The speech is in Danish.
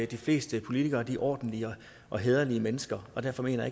de fleste politikere er ordentlige og hæderlige mennesker og derfor mener